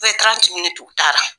Bɛɛ bɛ t'u tara.